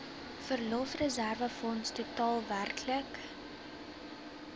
verlofreserwefonds totaal werklik